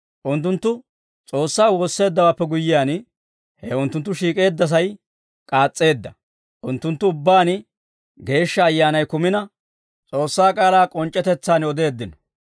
Unttunttu S'oossaa woosseeddawaappe guyyiyaan, he unttunttu shiik'eeddasay k'aas's'eedda. Unttunttu ubbaan Geeshsha Ayyaanay kumina, S'oossaa k'aalaa k'onc'c'etetsaan odeeddino.